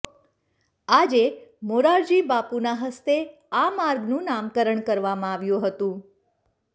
આજે મોરારિબાપુના હસ્તે આ માર્ગનું નામકરણ કરવામાં આવ્યું હતું